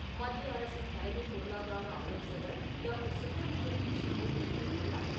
மத்திய அரசின் தலைமைப் பொருளாதார ஆலோசகர் டாக்டர் சுப்ரமணியன் கிருஷ்ணமூர்த்தி கூறியுள்ளார்.